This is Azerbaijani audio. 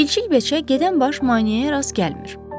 Çilçil beçə gedən baş maneəyə rast gəlmir.